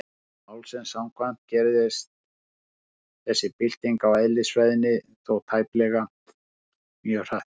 Eðli málsins samkvæmt gerist þessi bylting á eðlisfræðinni þó tæplega mjög hratt.